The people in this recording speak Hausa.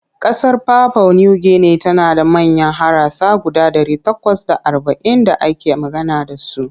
Ƙasar papua New Guinea tana da manyan harasa guda ɗari takwas da arba'in da ake magana da su.